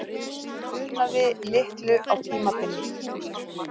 Það munaði litlu á tímabili.